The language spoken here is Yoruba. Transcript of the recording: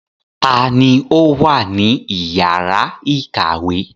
Ta ni ó wà ní ìyàrá-ìkàwé?